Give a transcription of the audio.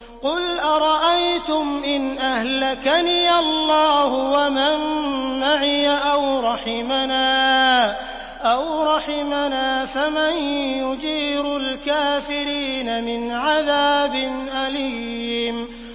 قُلْ أَرَأَيْتُمْ إِنْ أَهْلَكَنِيَ اللَّهُ وَمَن مَّعِيَ أَوْ رَحِمَنَا فَمَن يُجِيرُ الْكَافِرِينَ مِنْ عَذَابٍ أَلِيمٍ